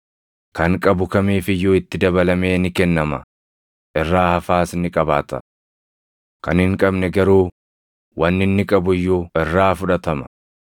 Kan qabu kamiif iyyuu itti dabalamee ni kennama; irraa hafaas ni qabaata. Kan hin qabne garuu wanni inni qabu iyyuu irraa fudhatama.